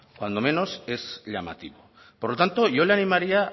cuando menos es llamativo por lo tanto yo le animaría